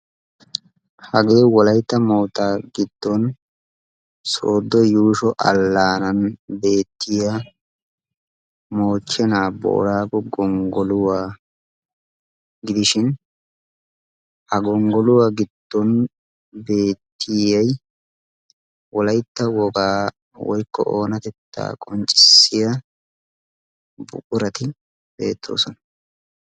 Hagee wolaytta moottaa giddon sooddo yuusho allaanan beettiya moochchenaa boraagu gonggoluwaa gidishin ha gonggoluwaa giddon beettiyai wolaytta wogaa woykko oonatettaa qonccissiya buqurati beettoosona.